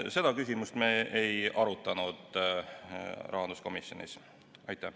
Seda küsimust me rahanduskomisjonis ei arutanud.